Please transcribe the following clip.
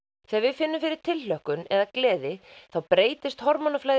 þegar við finnum fyrir tilhlökkun eða gleði þá breytist